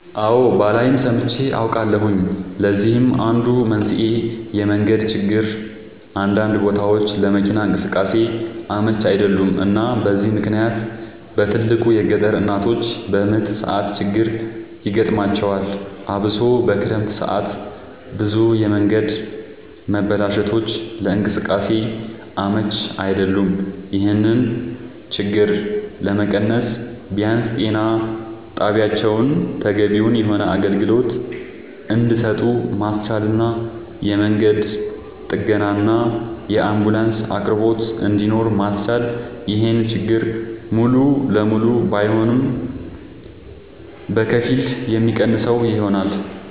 አወ ባላይም ሰምቼ አውቃለሁኝ ለዚህም አንዱ መንስኤ የመንገድ ችግር አንዳንድ ቦታወች ለመኪና እንቅስቃሴ አመች አይደሉም እና በዚህ ምክንያት በትልቁ የገጠር እናቶች በምጥ ሰዓት ችግር ይገጥማቸዋል አብሶ በክረምት ሰዓት ብዙ የመንገድ መበላሸቶች ለእንቅስቃሴ አመች አይደሉም ይሄን ችግር ለመቀነስ ቢያንስ ጤና ጣቢያወችን ተገቢውን የሆነ አገልግሎት እንድሰጡ ማስቻልና የመንገድ ጥገናና የአንቡላንስ አቅርቦት እንድኖር ማስቻል ይሄን ችግር ሙሉ ለሙሉ ባይሆንም በከፊል የሚቀንሰው ይሆናል